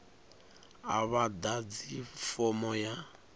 a vha ḓadzi fomo ya